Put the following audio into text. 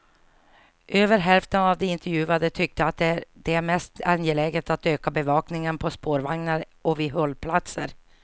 Över hälften av de intervjuade tyckte att det är mest angeläget att öka bevakningen på spårvagnar och vid hållplatser.